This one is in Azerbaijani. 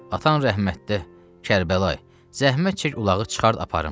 Atana rəhmət də, Kərbəlayı, zəhmət çək ulağı çıxart aparım.